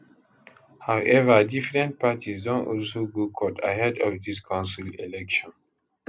however different parties don also go court ahead of dis council election